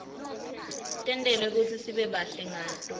tentelwe kutsi sibe bahle ngato